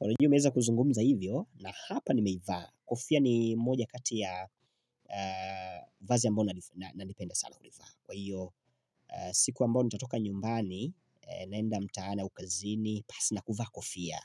Unajua naweza kuzungumza hivyo na hapa nimeivaa. Kofia ni moja kati ya vazi naliependa sana kulivaa kwa hiyo siku ambayo nitatoka nyumbani naenda mtaani au kazini pasi na kuvaa kofia